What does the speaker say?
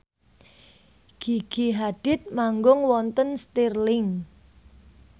Gigi Hadid manggung wonten Stirling